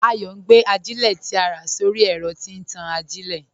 Ayọ̀ n gbé àjílẹ̀ tí à rá sọ̀rọ̀ ẹ̀rọ̀ tí n tàn àjílẹ̀.